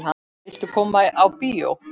Viltu koma á bíó?